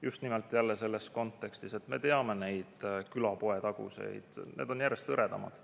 Just nimelt selles kontekstis, et me teame neid külapoetaguseid – need on järjest hõredamad.